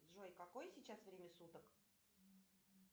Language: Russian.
джой какое сейчас время суток